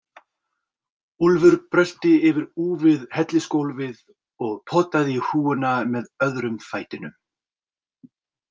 Úlfur brölti yfir úfið hellisgólfið og potaði í hrúguna með öðrum fætinum.